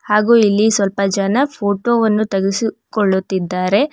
ಹಾಗೂ ಇಲ್ಲಿ ಸ್ವಲ್ಪ ಜನ ಫೋಟೋ ವನ್ನು ತೆಗೆಸಿಕೊಳ್ಳುತ್ತಿದ್ದಾರೆ.